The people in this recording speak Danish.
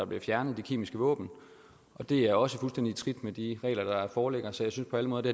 bliver fjernet de kemiske våben og det er også fuldstændig i trit med de regler der foreligger så jeg synes på alle måder det